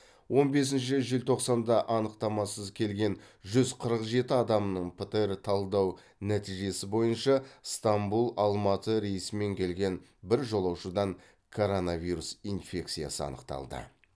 он бесінші желтоқсанда анықтамасыз келген жүз қырық жеті адамның птр талдау нәтижесі бойынша станбұл алматы рейсімен келген бір жолаушыдан коронавирус инфекциясы анықталды